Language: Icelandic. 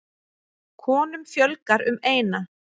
Konum fjölgar um eina.